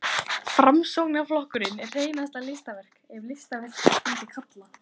Framsóknarflokkurinn er hreinasta listaverk, ef listaverk skyldi kalla.